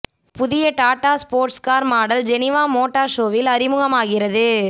புதிய Tata sports car model Geneva motor ஷோவில் அறிமுகமாகிறது